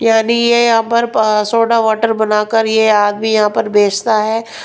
यानी ये यहां पर सोडा वाटर बनाकर ये आदमी यहां पर बेचता है.